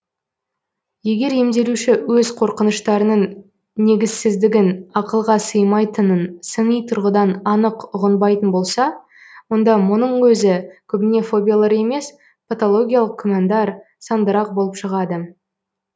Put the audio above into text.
егер емделуші өз қорқыныштарының негізсіздігін ақылға сыймайтынын сыни тұрғыдан анық ұғынбайтын болса онда мұның өзі көбіне фобиялар емес патологиялық күмәндар сандырақ болып шығады